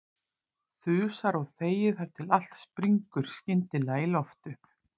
Þusar og þegir þar til allt springur skyndilega í loft upp.